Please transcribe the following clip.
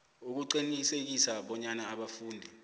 ukuqinisekisa bonyana abafundi